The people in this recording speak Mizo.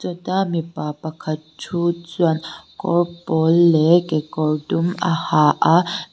kawta mipa pakhat thu chuan kawr pawl leh kekawr dum a ha a.